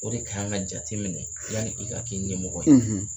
O de kan ka jateminɛ yani i ka kɛ ɲɛmɔgɔ ye